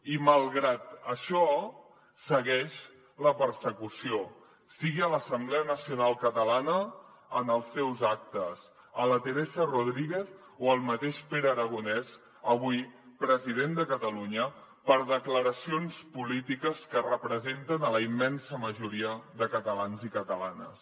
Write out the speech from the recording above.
i malgrat això segueix la persecució sigui a l’assemblea nacional catalana en els seus actes a la teresa rodríguez o al mateix pere aragonès avui president de catalunya per declaracions polítiques que representen la immensa majoria de catalans i catalanes